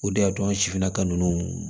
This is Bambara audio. O de y'a to an sifinnaka ninnu